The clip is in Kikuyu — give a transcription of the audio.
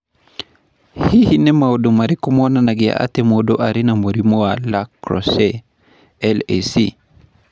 Hihi nĩ maũndũ marĩkũ monanagia atĩ mũndũ arĩ na mũrimũ wa La Crosse (LAC)?